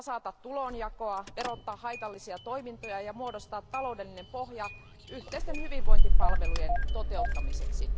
tasata tulonjakoa, verottaa haitallisia toimintoja ja muodostaa taloudellinen pohja yhteisten hyvinvointipalvelujen toteuttamiseksi.